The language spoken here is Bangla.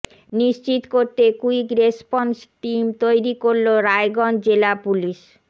নিশ্চিত করতে কুইক রেসপন্স টিম তৈরি করল রায়গঞ্জ জেলা পুলিশ